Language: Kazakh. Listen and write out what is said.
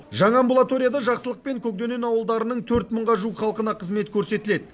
жаңа амбулаторияда жақсылық пен көкдөнен ауылдарының төрт мыңға жуық халқына қызмет көрсетіледі